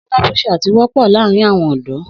Sínápúṣàt wọ́pọ̀ láàrin àwọn ọ̀dọ́.